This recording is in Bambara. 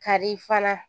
Kari fana